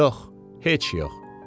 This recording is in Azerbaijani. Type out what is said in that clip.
Yox, heç yox.